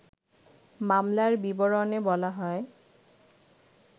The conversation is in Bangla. মামলার বিবরণে বলা হয়